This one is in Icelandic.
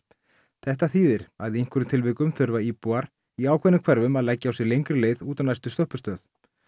þetta þýði að í einhverjum tilvikum þurfa íbúar í ákveðnum hverfum höfuðborgarsvæðisins að leggja á sig lengri leið út á næstu stoppistöð